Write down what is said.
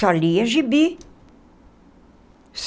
Só lia gibi.